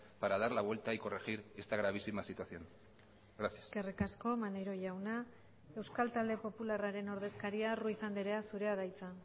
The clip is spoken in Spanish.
para dar la vuelta y corregir esta gravísima situación gracias eskerrik asko maneiro jauna euskal talde popularraren ordezkaria ruiz andrea zurea da hitza